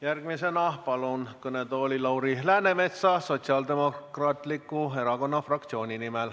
Järgmisena palun kõnetooli Lauri Läänemetsa Sotsiaaldemokraatliku Erakonna fraktsiooni nimel.